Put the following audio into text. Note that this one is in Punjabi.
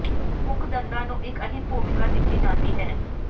ਮੁੱਖ ਦੰਦਾਂ ਨੂੰ ਇਕ ਅਹਿਮ ਭੂਮਿਕਾ ਦਿੱਤੀ ਜਾਂਦੀ ਹੈ